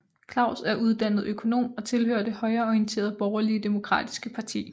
Klaus er uddannet økonom og tilhører det højreorienterede Borgerlige Demokratiske Parti